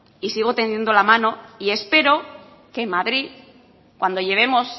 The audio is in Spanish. y sigo tendiendo la mano y espero que en madrid cuando llevemos